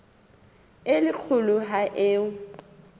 e le kgolo ho eo